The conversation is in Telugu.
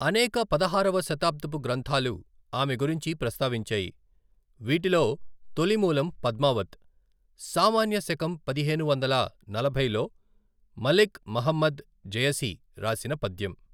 అనేక పదహారవ శతాబ్దపు గ్రంథాలు ఆమె గురించి ప్రస్తావించాయి, వీటిలో తొలి మూలం పద్మావత్, సామాన్య శకం పదిహేను వందల నలభైలో మలిక్ ముహమ్మద్ జయసి రాసిన పద్యం.